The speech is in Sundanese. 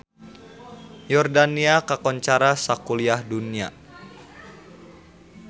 Yordania kakoncara sakuliah dunya